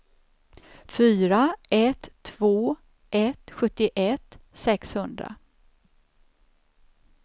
fyra ett två ett sjuttioett sexhundra